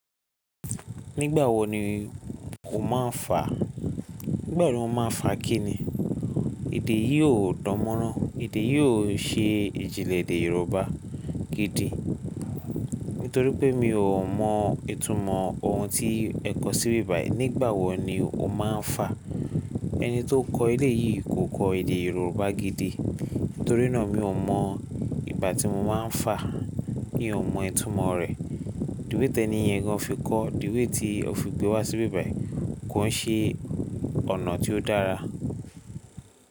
Nígbà wo ni o máa ń fà? Nígbà wo ni mo máa ń fà kí ni? Èdè yìí ò dánmọ́rán. Èdè yìí ò ṣe ìjìnlẹ̀ èdè Yorùbá gidi. Nítorí pé mi ò mọ ìtumọ̀ ohun tí ẹ kọ sí bí bai. Nígbà wo ni o máa ń fà? Ẹni tó kọ ilé yìí kò kọ èdè Yorùbá gidi. Nítorí náà mi ò mọ ìgbà tí mo máa ń fà mi ò mọ ìtumọ̀ rẹ̀. The way tẹniyẹn gan, fi ko, the way tí o fi gbé wá sí bí bai kò ṣe ọ̀nà tí ó dára.